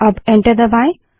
अब एंटर दबायें